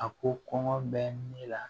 A ko kɔngɔ bɛ ne la